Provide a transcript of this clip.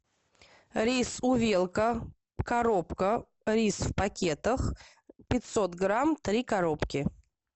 рис увелка коробка рис в пакетах пятьсот грамм три коробки